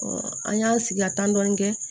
an y'an sigi ka tan dɔn kɛ